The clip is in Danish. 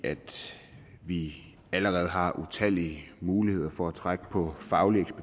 vi allerede har utallige muligheder for at trække på faglig